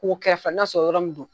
K'u kɛrɛ fɛ k'a sɔrɔ yɔrɔnin don